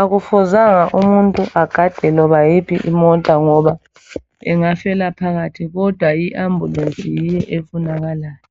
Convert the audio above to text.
Akufuzanga umuntu agade loba yiphi imota ngoba engafela phakathi kodwa iambulance yiyo efunakalayo.